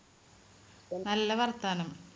നല്ല വർത്താനം